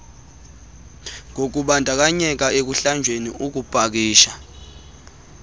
ngokubandakanyeka ekuhlanjweni ukupakisha